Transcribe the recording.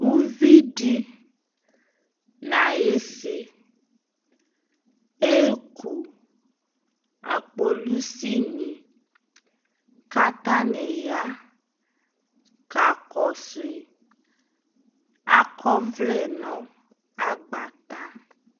Uvidi nayi si eku akpolusini ka ataya kakɔsu akɔ ɔvlɛ nu agbata